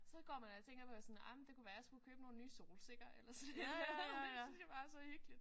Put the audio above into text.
Så går man og tænker på sådan ej men det kunne være jeg skulle købe nogle nye solsikker eller sådan et eller andet og det synes jeg bare er så hyggeligt